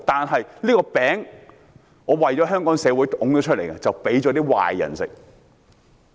政府的這個"餅"，是為香港社會推出來的，卻被壞人吃掉。